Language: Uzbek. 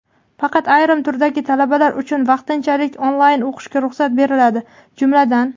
Faqat ayrim turdagi talabalar uchun vaqtinchalik onlayn o‘qishga ruxsat beriladi, jumladan:.